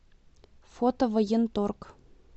фото военторг